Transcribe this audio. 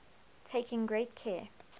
taking great care